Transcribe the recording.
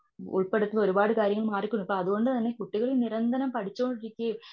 ഉൾപ്പെടുത്തുന്ന ഒരുപാട് കാര്യങ്ങൾ മാറികൊണ്ട് അതുകൊണ്ടു തന്നെ കുട്ടികൾ നിരന്തരം പേഠിച്ചോണ്ട് ഇരിക്കുകയും.